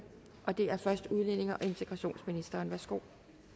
og det er først udlændinge og integrationsministeren værsgo